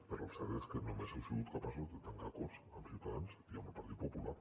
però el cert és que només heu sigut capaços de tancar acords amb ciutadans i amb el partit popular